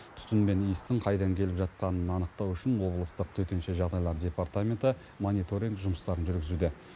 түтін мен иістің қайдан келіп жатқанын анықтау үшін облыстық төтенше жағдайлар департаменті мониторинг жұмыстарын жүргізуде